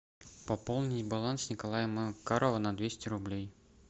пополни баланс николая макарова на двести рублей